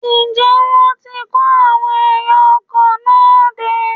Ǹjẹ́ wọ́n ti kó àwọn ẹ̀yà ara ọkọ̀ náà dé?